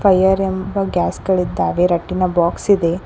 Fire ಎಂಬ gas ಗಳಿದ್ದಾವೆ ರಟ್ಟಿನ ಬಾಕ್ಸ್ ಇದೆ.